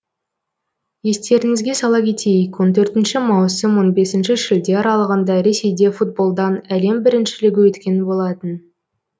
естеріңізге сала кетейік он төртінші маусым он бесінші шілде аралығында ресейде футболдан әлем біріншілігі өткен болатын